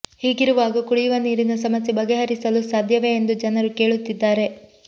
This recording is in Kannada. ಹೀಗಿರುವಾಗ ಕುಡಿಯುವ ನೀರಿನ ಸಮಸ್ಯೆ ಬಗೆಹರಿಸಲು ಸಾಧ್ಯವೇ ಎಂದು ಜನರು ಕೇಳುತ್ತಿದ್ದಾರೆ